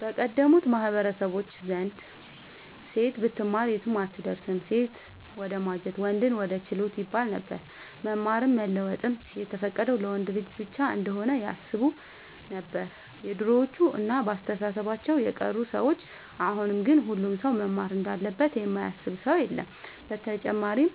በቀደሙት ማህበረሰቦች ዘንድ ሴት ብትማር የትም አትደርስም ሴትን ወደማጀት ወንድን ወደ ችሎት ይባለነበር። መማርም መለወጥም የተፈቀደው ለወንድ ልጅ ብቻ እንሆነ ያስቡነበር የድሮዎቹ እና በአስተሳሰባቸው የቀሩ ሰዎች አሁን ግን ሁሉም ሰው መማር እንዳለበት የማያስብ ሰው የለም። ብተጨማርም